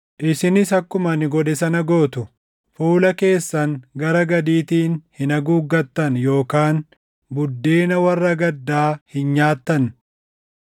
Isinis akkuma ani godhe sana gootu. Fuula keessan gara gadiitiin hin haguuggattan yookaan buddeena warra gaddaa hin nyaattu.